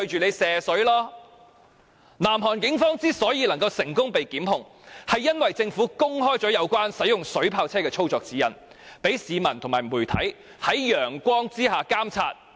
南韓警方最終被成功檢控，原因是政府公開了使用水炮車的操作指引，讓市民和媒體可以在陽光下監察。